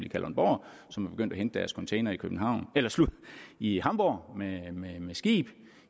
i kalundborg som er begyndt at hente deres containere i hamborg med skib i